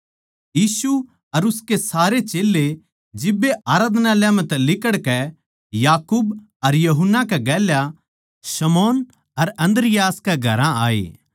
यीशु अर उसके सारे चेल्लें जिब्बे आराधनालय म्ह तै लिकड़कै याकूब अर यूहन्ना कै गेल्या शमौन अर अन्द्रियास कै घरां आये